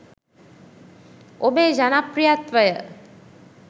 ඔබේ ජනප්‍රියත්වය